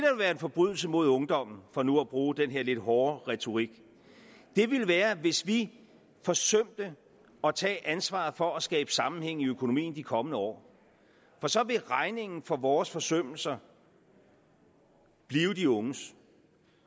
være en forbrydelse mod ungdommen for nu at bruge den her lidt hårde retorik ville være hvis vi forsømte at tage ansvaret for at skabe sammenhæng i økonomien i de kommende år for så ville regningen for vores forsømmelser blive de unges